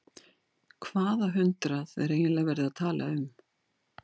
Hvaða hundrað er eiginlega verið að tala um?